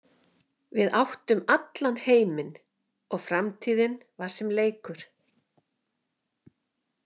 Við áttum allan heiminn og framtíðin var sem leikur.